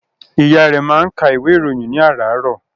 Ìyá rẹ̀ máa ń ka ìwé ìròyìn ní àràárọ̀.